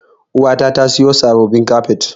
Uwata ta siyo sabbabin kafet.